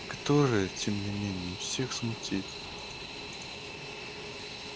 которое тем не менее всех смутит